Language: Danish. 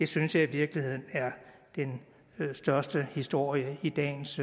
synes jeg i virkeligheden er den største historie i dagens